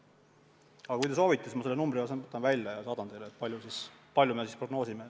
Aga kui te soovite, siis ma selle numbri võtan välja ja saadan teile, mis summat me prognoosime.